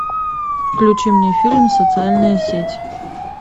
включи мне фильм социальная сеть